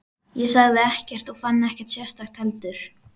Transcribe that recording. Ég sagði ekkert og fann ekkert sérstakt heldur.